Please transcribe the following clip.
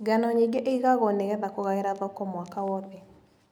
Ngano nyingĩ ĩgagwo nĩgetha kũgaĩra thoko mwaka wothe.